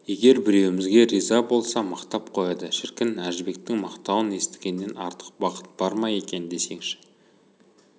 егер біреуімізге риза болса мақтап қояды шіркін әжібектің мақтауын естігеннен артық бақыт бар ма екен десеңші